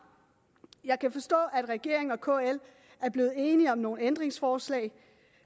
jeg kan forstå at regeringen og kl er blevet enige om nogle ændringsforslag